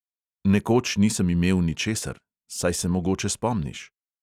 Nekoč nisem imel ničesar, saj se mogoče spomniš?